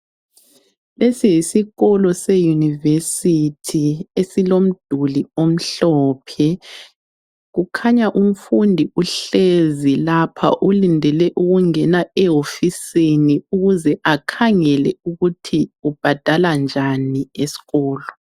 Lesi yisikolo seUniversity esilomduli omhlophe kukhanya umfundi uhlezi lapha ulindele ukungena ehofisini ukuze akhangele ukuthi ubhadala njani eskolo.